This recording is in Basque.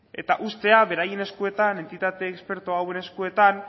eta ustea beraien eskuetan entitate esperto hauen eskuetan